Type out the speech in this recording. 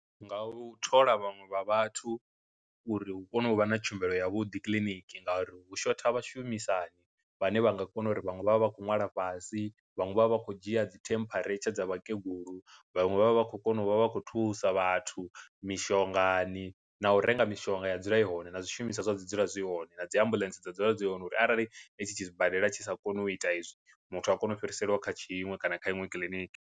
Nga u thola vhaṅwe vha vhathu uri hu kone u vha na tshumelo ya vhuḓi kiliniki, ngauri hu shotha vhashumisani vhane vha nga kona uri vhanwe vha vha vha khou nwala fhasi, vhaṅwe vha vha vha khou dzhia dzi temperature dza vhakegulu, vhaṅwe vha vha vha khou kona u vha vha khou thusa vhathu mishongani na u renga mishonga ya dzula i hone na zwishumiswa zwa dzula zwi hone na dzi ambuḽentse dza dzula dzi hone uri arali i tshi tshi sibadela tshi sa koni u ita izwi, muthu a kone u fhirisela kha tshiṅwe kana kha iṅwe kiḽiniki.